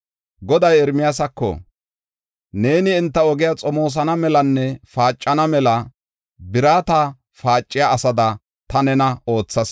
Goday Ermiyaasako, “Neeni enta ogiya xomoosana melanne paacana mela birata paaciya asada ta nena oothas.